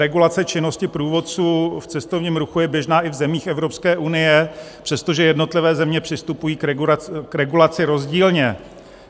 Regulace činnosti průvodců v cestovním ruchu je běžná i v zemích Evropské unie, přestože jednotlivé země přistupují k regulaci rozdílně.